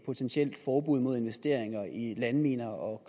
potentielt forbud mod investering i landminer og